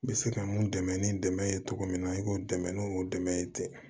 N bɛ se ka mun dɛmɛ ni dɛmɛ ye cogo min na i k'o dɛmɛ n'o dɛmɛ ye ten